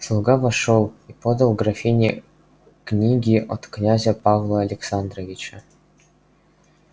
слуга вошёл и подал графине книги от князя павла александровича